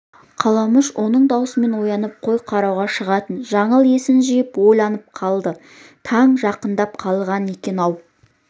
қаламүш соның дауысымен оянып қой қарауға шығатын жаңыл есін жиып ойланып қалды таң жақындап қалған екен-ау